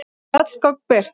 Öll gögn birt